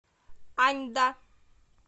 аньда